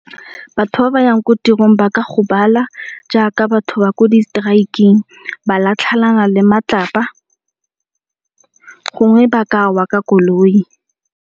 Batho ba ba yang ko tirong ba ka gobala jaaka batho ba ko di strike-ng, ba latlhelana le matlapa gongwe ba kawa ka koloi.